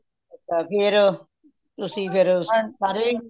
ਅ ਫੇਰ ਤੁਸੀ ਫੇਰ ਸਾਰੇ